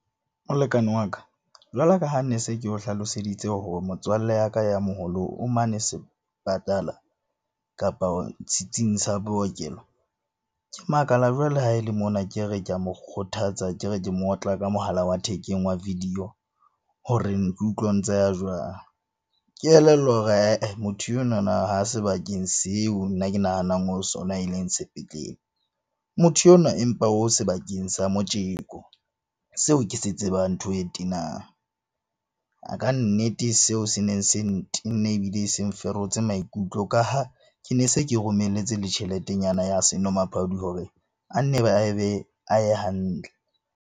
Molekane wa ka, jwalo ka ha ne se ke o hlaloseditse hore motswalle ya ka ya moholo o mane sepatala kapa setsing sa bookelo. Ke makala jwale ha e le mona ke re ke a mo kgothatsa ke re ke mo otla ka mohala wa thekeng wa video. Hore ke utlwe ntse a ya jwang. Ke elellwa hore ae motho enwana ha sebakeng seo nna ke nahanang o ho sona e leng sepetlele. Motho onwa empa o sebakeng sa motjeko seo ke se tsebang ntho e tenang. Kannete, seo se neng se ntenne ebile seng ferotse maikutlo ka ha ke ne se ke romelletse le tjheletenyana ya senomaphodi hore a nne a be a ye hantle.